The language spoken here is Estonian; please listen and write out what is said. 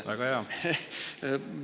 Väga hea!